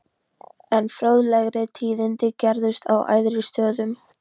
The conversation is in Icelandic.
Enn fróðlegri tíðindi gerðust á æðri stöðum.